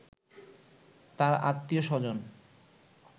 তার আত্মীয়-স্বজন